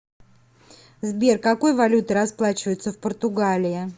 сбер какой валютой расплачиваются в португалии